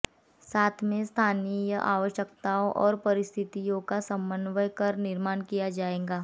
साथ में स्थानीय आवश्यकताओं और परिस्थितियों का समन्वय कर निर्माण किया जाएगा